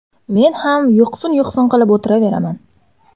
Men ham yuqsin-yuqsin qilib o‘tiraveraman.